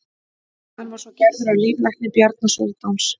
hann var svo gerður að líflækni bjarna sóldáns